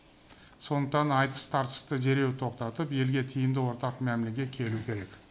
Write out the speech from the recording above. сондықтан айтыс тартысты дереу тоқтатып елге тиімді ортақ мәмілеге келу керек